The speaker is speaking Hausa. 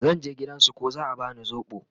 zan je gidan su ko za'a bani sobo